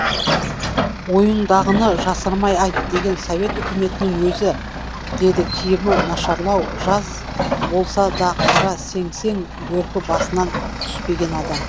ойыңдағыны жасырмай айт деген совет өкіметінің өзі деді киімі нашарлау жаз болса да қара сеңсең бөркі басынан түспеген адам